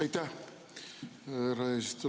Aitäh, härra eesistuja!